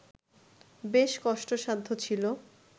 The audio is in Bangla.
বেশ কষ্টসাধ্য ছিল